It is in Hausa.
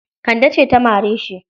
Kande ce ta mare shi.